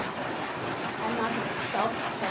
Hennar er sárt saknað.